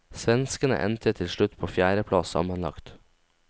Svenskene endte til slutt på en fjerde plass sammenlagt.